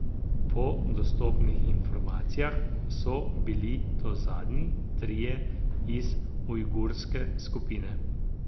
Po dostopnih informacijah so bili to zadnji trije iz ujgurske skupine.